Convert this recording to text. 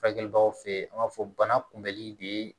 Furakɛlibaw fe yen an b'a fɔ bana kunbɛnli de